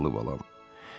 Zavallı balam.